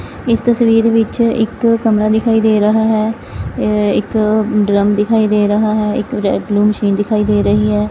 ਇਸ ਤਸਵੀਰ ਵਿੱਚ ਇੱਕ ਕਮਰਾ ਦਿਖਾਈ ਦੇ ਰਹਾ ਹੈ ਇੱਕ ਡਰਮ ਦਿਖਾਈ ਦੇ ਰਹਾ ਹੈ ਇੱਕ ਰੈਡ ਬਲੂ ਮਸ਼ੀਨ ਦਿਖਾਈ ਦੇ ਰਹੀ ਹੈ।